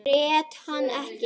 Grét hann ekki.